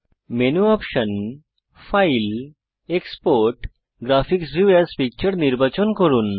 menu option file export graphics view as picture নির্বাচন করুন